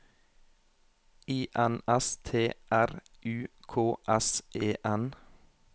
I N S T R U K S E N